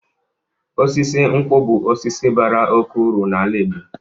Osisi nkwu bụ osisi bara oke uru n'ala Igbo.